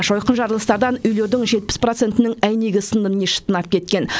жойқын жарылыстардан үйлердің жетпіс процентінің әйнегі сынды не шытынап кеткен